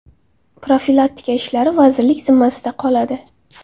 Profilaktika ishlari vazirlik zimmasida qoladi.